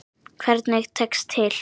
Hvernig tekst til?